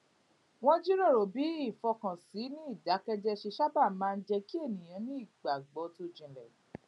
wón jíròrò bí ìfọkànsìn ní ìdákéjéé ṣe sábà máa ń jé kí ènìyàn ní ìgbàgbó tó jinlè